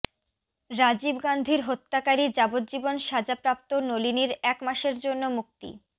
রাজীব গান্ধীর হত্যাকারী যাবজ্জীবন সাজা প্রাপ্ত নলিনীর এক মাসের জন্য মুক্তি